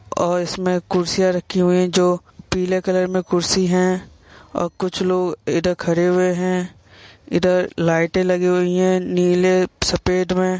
और इसमें कुर्सियाँ रखीं हुई हैं जो पीले कलर में कुर्सी हैं और कुछ लोग इधर खड़े हुए हैं। इधर लाइटें लगी हुई हैं नीले सफेद में।